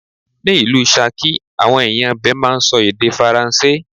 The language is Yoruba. Ni ìlú Ṣakí, àwọn ẹ̀yàn ibè máa ń sọ èdè Faransé.